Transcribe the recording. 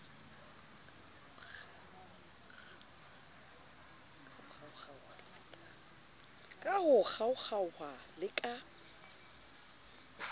ka ho kgaokgaoha le ka